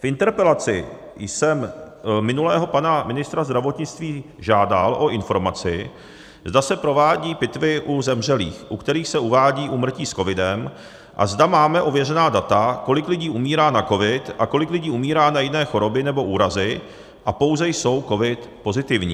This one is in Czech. V interpelaci jsem minulého pana ministra zdravotnictví žádal o informaci, zda se provádějí pitvy u zemřelých, u kterých se uvádí úmrtí s covidem, a zda máme ověřená data, kolik lidí umírá na covid a kolik lidí umírá na jiné choroby nebo úrazy a pouze jsou covid pozitivní.